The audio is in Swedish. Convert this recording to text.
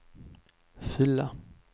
fylla